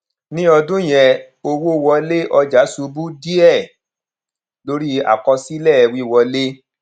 ní ọdún yẹn owó wọlé ọjà ṣubú díẹ lórí àkọsílẹ wíwọlé